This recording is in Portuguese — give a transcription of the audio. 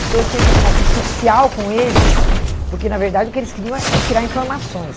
Então, eu tinha que fazer uma um social com eles, porque, na verdade, o que eles queriam é é tirar informações.